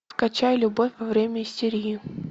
скачай любовь во время истерии